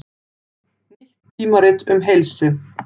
Nýtt tímarit um heilsu